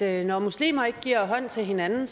at når muslimer ikke giver hånd til hinanden